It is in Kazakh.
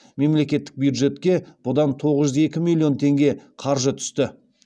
мемлекеттік бюджетке бұдан тоғыз жүз екі миллион теңге қаржы түсті